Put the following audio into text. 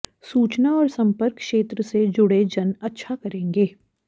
सूचना और संपर्क क्षेत्र से जुड़े जन अच्छा करेंगे